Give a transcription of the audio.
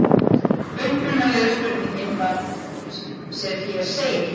Upprunalega spurningin var sem hér segir: